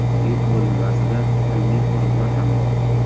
Yuk bo‘linmasida ilmiy qurilma ham bor.